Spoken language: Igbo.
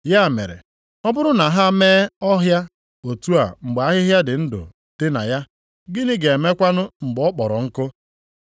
Ya mere, ọ bụrụ na ha mee ọhịa otu a mgbe ahịhịa dị ndụ dị na ya, gịnị ga-emekwanụ mgbe ọ kpọrọ nkụ?”